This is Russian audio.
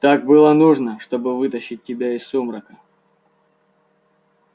так было нужно чтобы вытащить тебя из сумрака